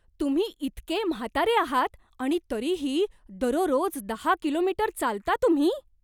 तुम्ही इतके म्हातारे आहात आणि तरीही दररोज दहा कि. मी. चालता तुम्ही?